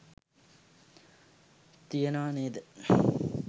තියනවා නේද